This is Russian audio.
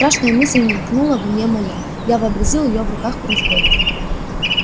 страшная мысль мелькнула в уме моем я вообразил её в руках у разбойников